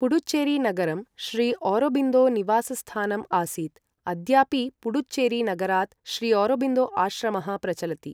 पुडुचेरी नगरं श्रीऔरोबिन्दो निवासस्थानम् आसीत्, अद्यापि पुडुचेरी नगरात् श्रीऔरोबिन्दो आश्रमः प्रचलति ।